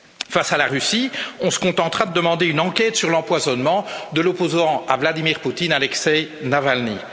Face à la Russie, on se contentera de demander une enquête sur l'empoisonnement de l'opposant à Vladimir Poutine, Alexeï Navalny.